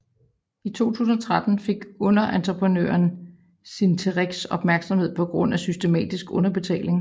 I 2013 fik underentreprenøren Cinterex opmærksomhed på grund af systematisk underbetaling